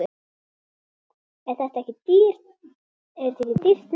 Er þetta ekki dýrt nám?